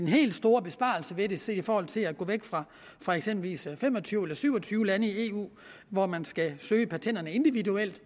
helt store besparelse ved det set i forhold til at gå væk fra fra eksempelvis fem og tyve eller syv og tyve lande i eu hvor man skal søge patenterne individuelt